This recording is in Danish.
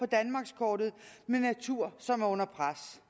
danmarkskortet med natur som er under pres